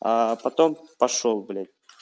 потом пошёл блять